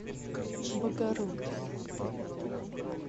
богородск